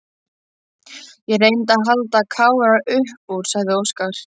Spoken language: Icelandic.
Ég reyndi að halda Kára upp úr, sagði Óskar.